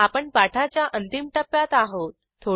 आपण पाठाच्या अंतिम टप्प्यात आहोत